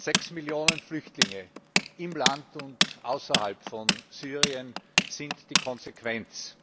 Sechs Millionen Flüchtlinge im Land und außerhalb von Syrien sind die Konsequenz.